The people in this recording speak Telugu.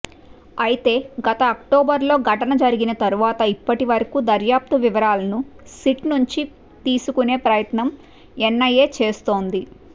అయితే గత అక్టోబర్లో ఘటన జరిగిన తరువాత ఇప్పటివరకూ దర్యాప్తు వివరాలను సిట్ నుంచి తీసుకునే ప్రయత్నం ఎన్ఐఏ చేస్తోంది